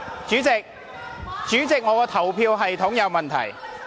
主席，表決系統有問題。